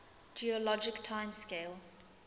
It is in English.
geologic time scale